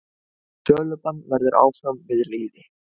Sölubann verður áfram við lýði.